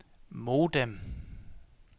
modem